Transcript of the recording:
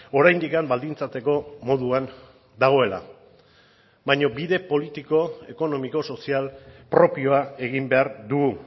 oraindik baldintzatzeko moduan dagoela baina bide politiko ekonomiko sozial propioa egin behar dugu